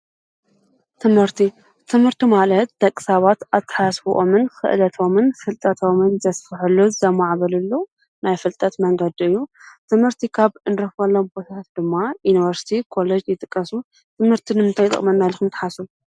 ትምህርቲ፡- ትምህርቲ ማለት ደቂ ሰባት ኣተሓሳስበኦምን ኽእለቶምን ፍልጠቶምን ዘስፍሕሉ ዘማዕብልሉ ናይ ፍልጠት መንገድ እዩ፡፡ ትምህርቲ ኻብ እንረኽበሎመ ቦታታት ድማ ዩንቨርስቲ ፣ኮሌጅ ይጥቀሱ፡፡ ትምህርቲ ንምንታይ ይጠቕመና ኢልኩም ተሓስቡ?